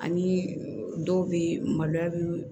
Ani dɔw bɛ yen maloya bɛ